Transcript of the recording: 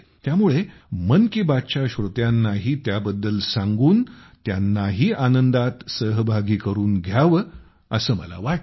त्यामुळे मन की बातच्या श्रोत्यांनाही त्याबद्दल सांगून त्यांनाही आनंदात सहभागी करून घ्यावे असे मला वाटले